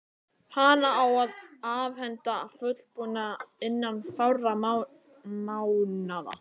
Hana á að afhenda fullbúna innan fárra mánaða.